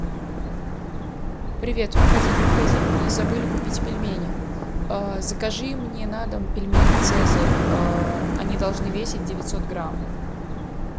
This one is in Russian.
привет мы ходили в магазин и забыли купить пельмени закажи мне на дом пельмени цезарь они должны весить девятьсот грамм